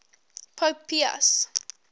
pope pius